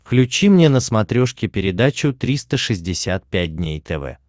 включи мне на смотрешке передачу триста шестьдесят пять дней тв